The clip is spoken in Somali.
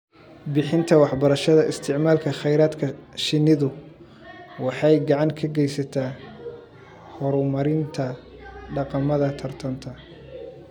Bixinta waxbarashada isticmaalka kheyraadka shinnidu waxay gacan ka geysataa horumarinta dhaqamada taranta.